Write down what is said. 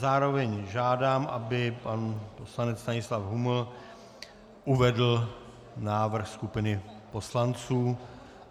Zároveň žádám, aby pan poslanec Stanislav Huml uvedl návrh skupiny poslanců.